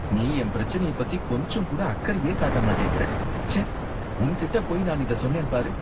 நீ என் பிரச்சனைய பத்தி கொஞ்சம் கூட அக்கறையே காட்ட மாட்டேங்கிற, ச்சே உன் கிட்ட போயி நான் இத சொன்னேன் பாரு!